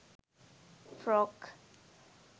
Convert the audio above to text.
frock